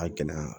A gɛlɛyara